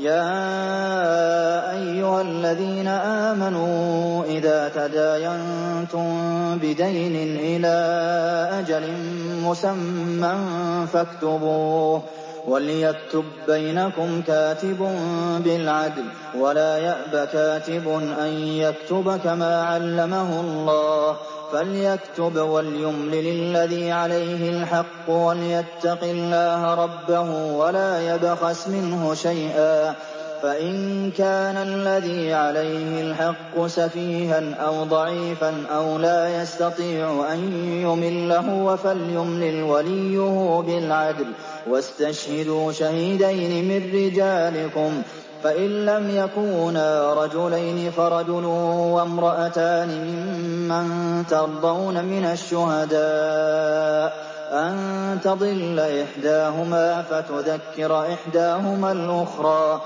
يَا أَيُّهَا الَّذِينَ آمَنُوا إِذَا تَدَايَنتُم بِدَيْنٍ إِلَىٰ أَجَلٍ مُّسَمًّى فَاكْتُبُوهُ ۚ وَلْيَكْتُب بَّيْنَكُمْ كَاتِبٌ بِالْعَدْلِ ۚ وَلَا يَأْبَ كَاتِبٌ أَن يَكْتُبَ كَمَا عَلَّمَهُ اللَّهُ ۚ فَلْيَكْتُبْ وَلْيُمْلِلِ الَّذِي عَلَيْهِ الْحَقُّ وَلْيَتَّقِ اللَّهَ رَبَّهُ وَلَا يَبْخَسْ مِنْهُ شَيْئًا ۚ فَإِن كَانَ الَّذِي عَلَيْهِ الْحَقُّ سَفِيهًا أَوْ ضَعِيفًا أَوْ لَا يَسْتَطِيعُ أَن يُمِلَّ هُوَ فَلْيُمْلِلْ وَلِيُّهُ بِالْعَدْلِ ۚ وَاسْتَشْهِدُوا شَهِيدَيْنِ مِن رِّجَالِكُمْ ۖ فَإِن لَّمْ يَكُونَا رَجُلَيْنِ فَرَجُلٌ وَامْرَأَتَانِ مِمَّن تَرْضَوْنَ مِنَ الشُّهَدَاءِ أَن تَضِلَّ إِحْدَاهُمَا فَتُذَكِّرَ إِحْدَاهُمَا الْأُخْرَىٰ ۚ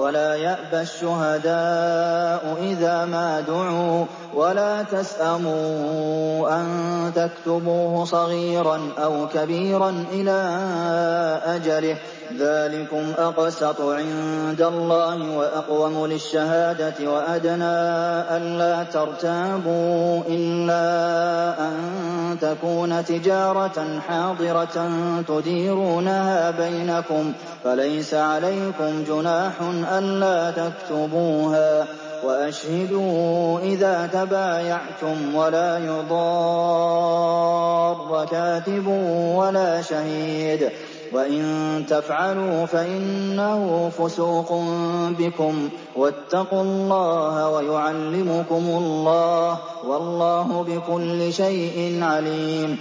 وَلَا يَأْبَ الشُّهَدَاءُ إِذَا مَا دُعُوا ۚ وَلَا تَسْأَمُوا أَن تَكْتُبُوهُ صَغِيرًا أَوْ كَبِيرًا إِلَىٰ أَجَلِهِ ۚ ذَٰلِكُمْ أَقْسَطُ عِندَ اللَّهِ وَأَقْوَمُ لِلشَّهَادَةِ وَأَدْنَىٰ أَلَّا تَرْتَابُوا ۖ إِلَّا أَن تَكُونَ تِجَارَةً حَاضِرَةً تُدِيرُونَهَا بَيْنَكُمْ فَلَيْسَ عَلَيْكُمْ جُنَاحٌ أَلَّا تَكْتُبُوهَا ۗ وَأَشْهِدُوا إِذَا تَبَايَعْتُمْ ۚ وَلَا يُضَارَّ كَاتِبٌ وَلَا شَهِيدٌ ۚ وَإِن تَفْعَلُوا فَإِنَّهُ فُسُوقٌ بِكُمْ ۗ وَاتَّقُوا اللَّهَ ۖ وَيُعَلِّمُكُمُ اللَّهُ ۗ وَاللَّهُ بِكُلِّ شَيْءٍ عَلِيمٌ